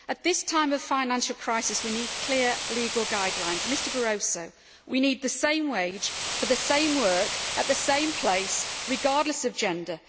At this time of financial crisis, we need clear legal guidelines and, Mr Barroso, we need the same wage for the same work at the same place, regardless of gender.